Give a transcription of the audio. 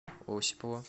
осипова